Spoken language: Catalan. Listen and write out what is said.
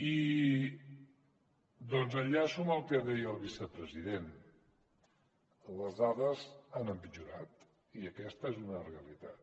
i enllaço amb el que deia el vicepresident les dades han empitjorat i aquesta és una realitat